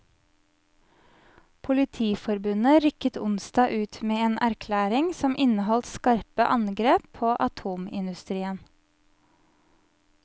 Politiforbundet rykket onsdag ut med en erklæring som inneholdt skarpe angrep på atomindustrien.